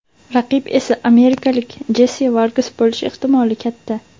Raqib esa amerikalik Jessi Vargas bo‘lishi ehtimoli katta.